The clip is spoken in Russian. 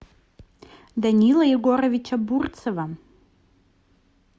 данила егоровича бурцева